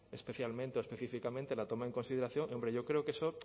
especialmente o específicamente la toma en consideración yo creo que eso